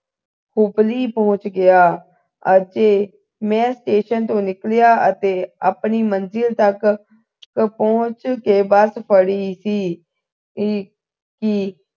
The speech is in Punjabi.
ਉਪਲੀ ਪਹੁੰਚ ਗਿਆ ਅਤੇ ਮੈਂ ਸਟੇਸ਼ਨ ਤੋਂ ਨਿਕਲਿਆ ਅਤੇ ਆਪਣੀ ਮੰਜ਼ਲ ਤਕ ਪਹੁੰਚ ਕੇ ਬੱਸ ਫੜੀ ਸੀ ਕਿ ਕਿ